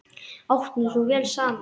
Áttum svo vel saman.